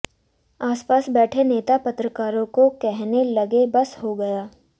आसपास बैठे नेता पत्रकारों को कहने लगे बस हो गया